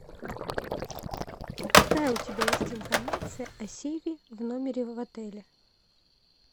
какая у тебя есть информация о сейве в номере в отеле